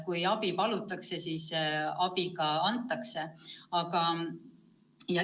Kui abi palutakse, siis abi ka antakse.